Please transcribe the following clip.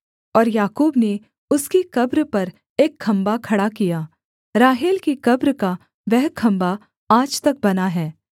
और याकूब ने उसकी कब्र पर एक खम्भा खड़ा किया राहेल की कब्र का वह खम्भा आज तक बना है